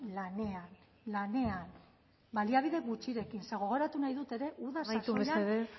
lanean lanean baliabide gutxirekin ze gogoratu nahi dut ere uda amaitu mesedez